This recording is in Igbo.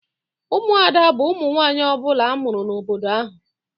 Ụmụada bu ụmụ nwanyị ọbula amụrụ n'obodo ahụ.